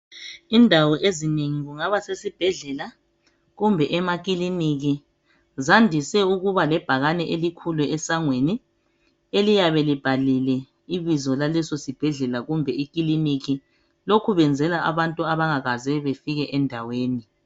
Indawo ezinengi kungaba sesibhedlela kumbe emakiliniki Zandise ukuba lebhakane elikhulu esangweni eliyabe libhaliwe ibizo laleso sibhedlela kumbe ikiliniki lokhu benzela abantu abangakaze befike endaweni .